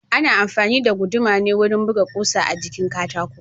Ana amfani da guduma ne wurin buga kusa a jikin katako